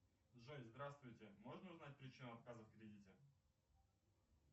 джой здравствуйте можно узнать причину отказа в кредите